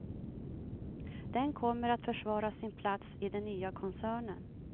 Den kommer att försvara sin plats i den nya koncernen.